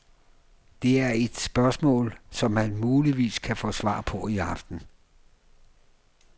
Det er spørgsmål, som man muligvis kan få svar på i aften.